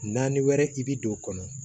Naani wɛrɛ i bɛ don o kɔnɔ